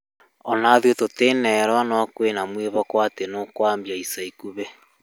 Ona ithuĩ tũtinerwo no kwĩna mwĩhoko atĩ nĩ ũkwambia ica ikuhĩ